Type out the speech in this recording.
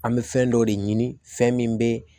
An bɛ fɛn dɔ de ɲini fɛn min bɛ